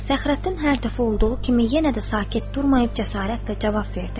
Fəxrəddin hər dəfə olduğu kimi yenə də sakit durmayıb cəsarətlə cavab verdi.